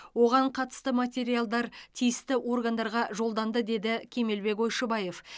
оған қатысты материалдар тиісті органдарға жолданды деді кемелбек ойшыбаев